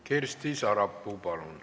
Kersti Sarapuu, palun!